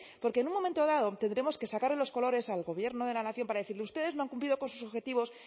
porque en un momento dado tendremos que sacarle los colores al gobierno de la nación para decirle ustedes no han cumplido con sus objetivos